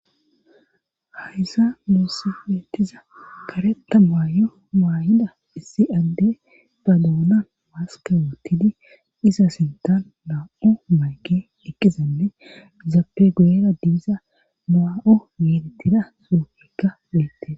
Hayza muosse weettiza kareta maayo maayida issi adde ba doona maskewattidi iza sintan maa7o mayke ikkizanne zaappe guera diiza maa7o yiilittida suofikka weette